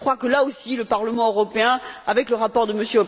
Je crois que là aussi, le Parlement européen, avec le rapport de